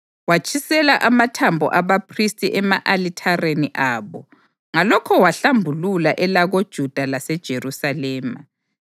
Watshisela amathambo abaphristi ema-alithareni abo, ngalokho wahlambulula elakoJuda laseJerusalema.